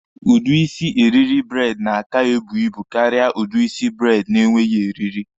Udi isi eriri braidi na-aka ebu ibu karịa udi isi braidi na-enweghi eriri.